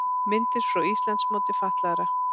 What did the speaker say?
Myndir frá Íslandsmóti fatlaðra